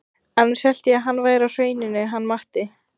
Annars hélt ég að hann væri á Hrauninu hann Matti.